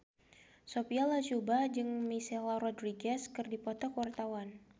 Sophia Latjuba jeung Michelle Rodriguez keur dipoto ku wartawan